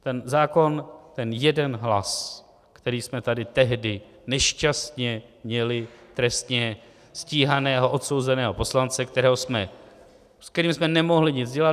Ten zákon, ten jeden hlas, který jsme tady tehdy nešťastně měli, trestně stíhaného odsouzeného poslance, s kterým jsme nemohli nic dělat.